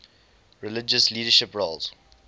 religious leadership roles